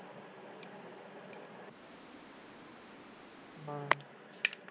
ਹਾਂ।